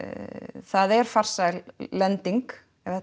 það er farsæl lending ef þetta